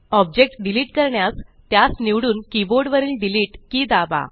object delete करण्यास त्यास निवडून कीबोर्ड वरील डिलीट कि दाबा